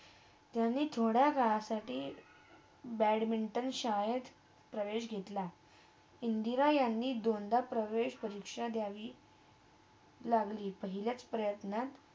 त्यांनी थोड्या वेळासाठी त्यांनी बॅडमिंटन शाळेत प्रवेश घेतला इंदिरा यांनी दोनदा प्रवेश परीक्षा दयावी लागली, पहिलाच प्रयत्न